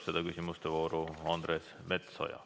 Küsimuste vooru alustab Andres Metsoja.